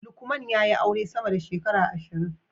Lukman ya yi aure sama da shekara ashirin